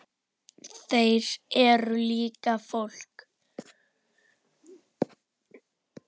Þeir eru líka fólk.